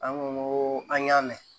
An ko an y'a mɛn